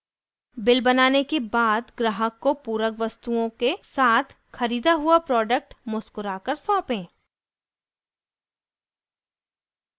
bill बनाने के बाद ग्राहक को पूरक वस्तुओं के साथ ख़रीदा हुआ प्रोडक्ट मुस्कुराकर सौपें